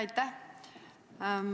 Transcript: Aitäh!